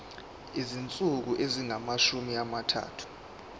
izinsuku ezingamashumi amathathu